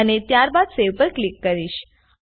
અને ત્યારબાદ Saveપર ક્લિક કરીશ